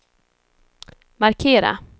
markera